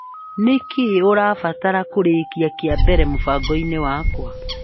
Nĩkĩĩ ũrabatara kũrĩkia kĩa mbere mũbango-inĩ wakwa ?